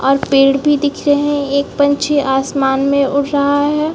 और पेड़ भी दिख रहै है एक पंछी आसमान में उड़ रहा है।